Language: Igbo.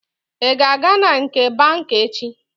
Ị ga-aga na nke banka echi?